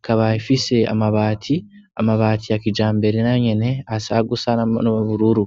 ikaba ifise amabati amabati ya kijambere nayo nyene asa gusa n'ubururu